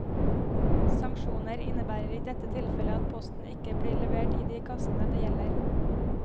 Sanksjoner innebærer i dette tilfellet at posten ikke blir levert i de kassene det gjelder.